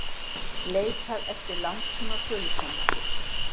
Leitað eftir langtíma sölusamningum